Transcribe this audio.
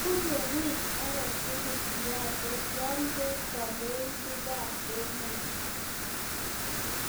bunu wiy age tugul siaset yo kwee kandoindet bikap emet